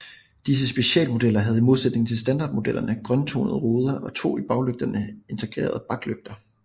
Disse specialmodeller havde i modsætning til standardmodellerne grøntonede ruder og to i baglygterne integrerede baklygter